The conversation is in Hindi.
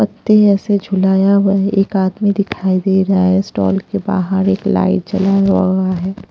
पत्ते ऐसे झुलाया हुआ है एक आदमी दिखाई दे रहा है स्टॉल के बाहर एक लाइट जला हुआ है।